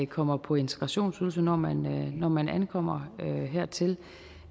kommer på integrationsydelse når man når man ankommer hertil